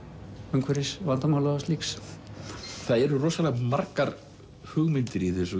umhverfisvandamála og slíks það eru rosalega margar hugmyndir í þessu